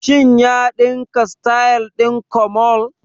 Shin ya ɗinka sityl ɗin komole?